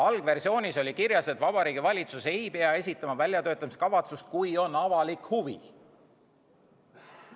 Algversioonis oli kirjas, et Vabariigi Valitsus ei pea esitama väljatöötamiskavatsust, kui on avalik huvi.